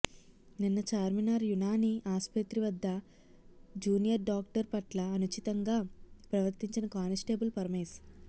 నిన్న చార్మినార్ యునాని ఆస్పత్రి వద్ద జూనియర్ డాక్టర్ పట్ల అనుచితంగా ప్రవర్తించిన కానిస్టేబుల్ పరమేష్